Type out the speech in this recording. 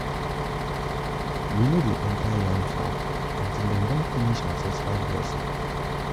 we no dey enter yam farm until after dem don finish ancestral blessing.